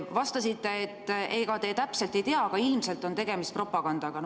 Vastasite, et ega te täpselt ei tea, aga ilmselt on tegemist propagandaga.